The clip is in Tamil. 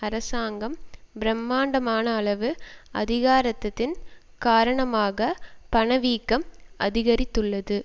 அரசாங்கம் பிரமாண்டமானளவு அதிகரித்ததன் காரணமாக பண வீக்கம் அதிகரித்துள்ளது